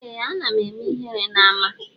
Eeh ana eme ihere na ama.